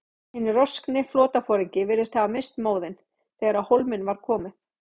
Hinn roskni flotaforingi virðist hafa misst móðinn, þegar á hólminn var komið.